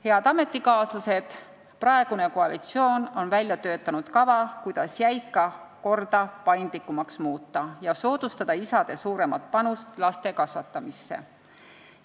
Head ametikaaslased, praegune koalitsioon on välja töötanud kava, kuidas jäika korda paindlikumaks muuta ja soodustada isade suuremat panust laste kasvatamisse.